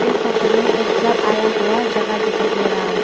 ये फोटो में एक फ्लड आया हुआ जगह दिखाई दे रहा है।